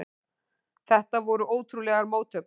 Þetta voru ótrúlegar móttökur.